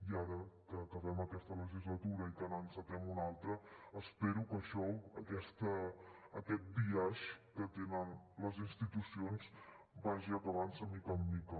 i ara que acabem aquesta legislatura i que n’encetem una altra espero que això aquest biaix que tenen les institucions vagi acabant se de mica en mica